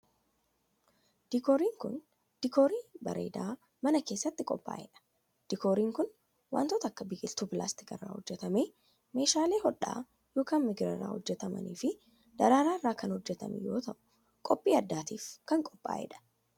Diikooriin kun, diikoorii bareedaa mana keessatti qophaa'e dha. Diikooriin kun wantoota akka; biqiltuu pilaastika irraa hojjatame, meeshaalee hodhaa yokin migira irraa hojjataman, fi Daraaraa irraa kan hojjatame yoo ta'u, qophii adddaatif kan qophaa'e dha.